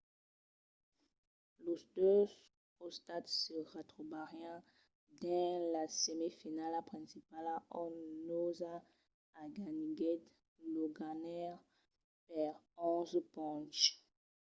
los dos costats se retrobarián dins la semifinala principala ont noosa aganiguèt los ganhaires per 11 ponches